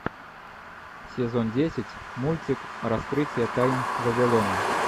сезон десять мультик раскрытие тайн вавилона